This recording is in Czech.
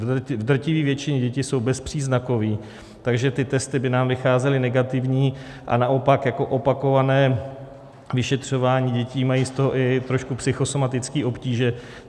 V drtivé většině děti jsou bezpříznakové, takže ty testy by nám vycházely negativní, a naopak jako opakované vyšetřování, děti mají z toho i trošku psychosomatické obtíže.